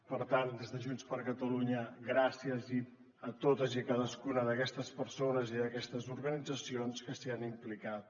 per tant des de junts per catalunya gràcies a totes i cadascuna d’aquestes persones i d’aquestes organitzacions que s’hi han implicat